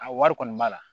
A wari kɔni b'a la